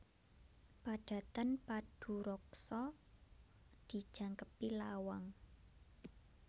Padatan paduraksa dijangkepi lawang